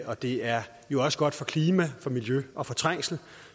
og det er jo også godt for klima miljø og trængsel